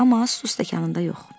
Amma su stəkanında yox.